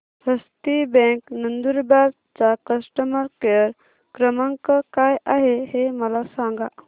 हस्ती bank Nandurbar चा customer care क्रमांक काय आहे हे मला सांगा